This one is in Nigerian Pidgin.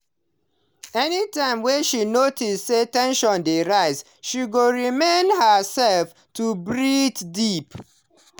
anytime she notice say ten sion dey rise she go remind herself to breathe deep.